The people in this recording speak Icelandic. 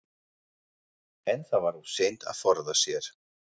En það var of seint að forða sér.